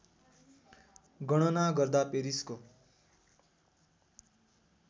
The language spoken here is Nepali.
गणना गर्दा पेरिसको